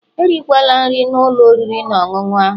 Erikwala nri na ụlọ oriri na ọṅụṅụ ahu